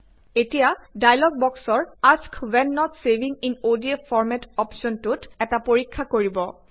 এতিয়া ডায়লগ বক্সৰ ask when not saving in ODF format অপ্শ্বনটোত এটা পৰিক্ষা কৰিব